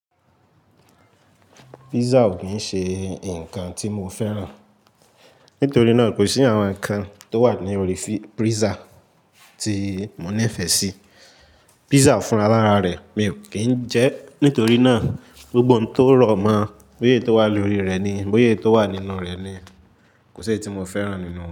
Pizza ò kín ń ṣe ǹkan tí mo fẹ́ràn. Nítorí náà ò ko sí àwọn ǹkan tó wà ní orí pizza tí mo nífẹsí. Pizza fún alára rẹ̀ mi ò kín ń jẹ ẹ́. Nítorí náà, gbogbo ohun tó rọ̀ mọ́, bóyé tó wà lórí rẹ̀ ni, bóyé tó wà nínú rẹ̀ ni kò ṣe é tí mo fẹ́ràn nìnu won.